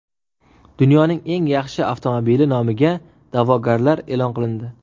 Dunyoning eng yaxshi avtomobili nomiga da’vogarlar e’lon qilindi.